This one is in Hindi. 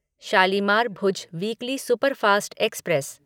Shalimar Bhuj weekly superfast express